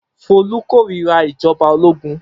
Folú kórira ìjọba ológun.